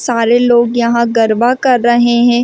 सारे लोग यहां गर्वा कर रहे हैं।